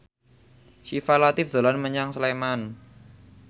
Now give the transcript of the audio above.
Syifa Latief dolan menyang Sleman